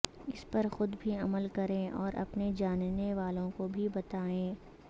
اس پر خود بھی عمل کریں اور اپنے جاننے والوں کو بھی بتائیں